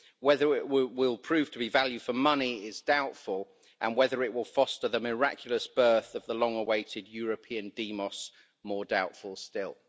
Whether it will prove to be value for money is doubtful and whether it will foster the miraculous birth of the long awaited European demos, more doubtful still.